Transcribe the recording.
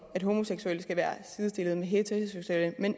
at homoseksuelle skal være sidestillet med heteroseksuelle men